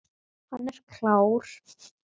Hann er klár.